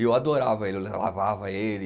e Eu adorava ele, eu lavava ele.